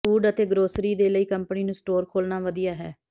food ਅਤੇ grocery ਦੇ ਲਈ ਕੰਪਨੀ ਨੂੰ ਸਟੋਰ ਖੋਲ੍ਹਣਾ ਵਧੀਆ ਹੈ